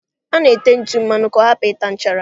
A na-ete ntụ mmanụ ka ọ hapụ ịta nchara.